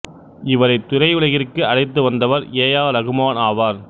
இவரை திரையுலகிற்கு அழைத்து வந்தவர் ஏ ஆர் ரகுமான் ஆவார்